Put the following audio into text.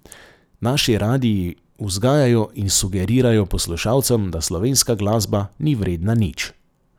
Naši radii vzgajajo in sugerirajo poslušalcem, da slovenska glasba ni vredna nič.